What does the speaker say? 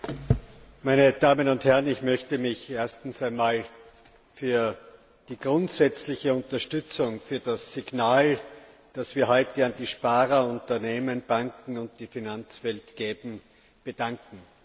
Herr Präsident, meine Damen und Herren! Ich möchte mich zunächst einmal für die grundsätzliche Unterstützung, für das Signal, das wir heute an die Sparer, Unternehmen, Banken und die Finanzwelt geben, bedanken.